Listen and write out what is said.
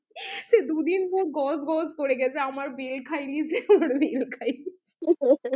সে দুদিন ধরে গজগজ করে গেছে আমার বেল খেয়ে নিয়েছে আমার বেল খেয়ে নিয়েছে